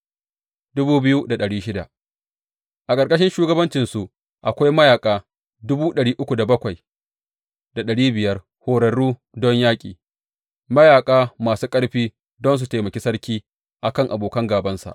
A ƙarƙashin shugabancinsu akwai mayaƙa horarru don yaƙi, mayaƙa masu ƙarfi don su taimaki sarki a kan abokan gābansa.